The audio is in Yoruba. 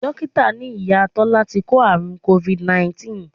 Dókítà ní Ìyá Tọ́lá ti kó àrùn Covid 19